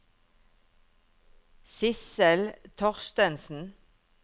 Sissel Thorstensen